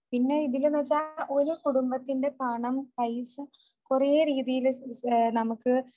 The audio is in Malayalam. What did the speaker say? പിന്നെയതിലെന്നുവെച്ചാൽ ഒരു കുടുംബത്തിന്റെ പണം പൈസ കുറെ രീതിയിൽ നമുക്ക്